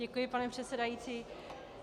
Děkuji, pane předsedající.